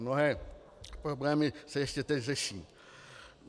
Mnohé problémy se ještě teď řeší.